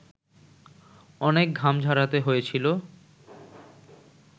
অনেক ঘাম ঝরাতে হয়েছিল